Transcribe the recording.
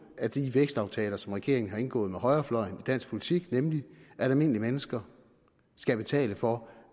af de vækstaftaler som regeringen har indgået med højrefløjen i dansk politik nemlig at almindelige mennesker skal betale for